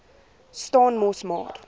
staan mos maar